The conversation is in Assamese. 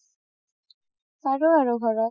পাৰো আৰু ঘৰত